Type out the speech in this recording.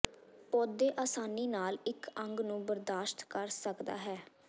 ਪੌਦੇ ਆਸਾਨੀ ਨਾਲ ਇੱਕ ਅੰਗ ਨੂੰ ਬਰਦਾਸ਼ਤ ਕਰ ਸਕਦਾ ਹੈ